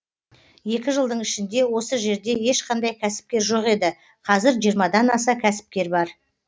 екі жылдың ішінде осы жерде ешқандай кәсіпкер жоқ еді қазір жиырмадан аса кәсіпкер бар